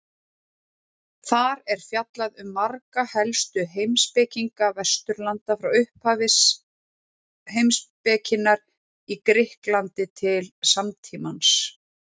Þar er fjallað um marga helstu heimspekinga Vesturlanda frá upphafi heimspekinnar í Grikklandi til samtímans.